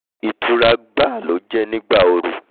ìtura gbáà ló jẹ́ nígbà ooru